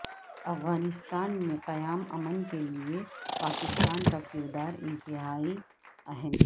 افغانستان میں قیام امن کے لیے پاکستان کا کردار انتہائی اہم